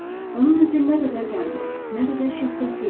Onun üzü nə qədər qəmli, nə qədər şəfqətli idi!